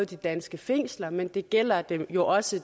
de danske fængsler men det gælder jo også